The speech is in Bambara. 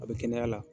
A bɛ kɛnɛya la